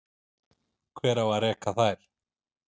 Hver á að reka þær?